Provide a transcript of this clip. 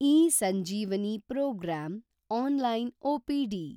eSanjeevani programme (online OPD)